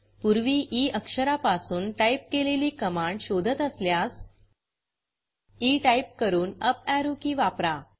पूर्वी ई अक्षरापासून टाईप केलेली कमांड शोधत असल्यास ई टाईप करून अप arrowएरो की वापरा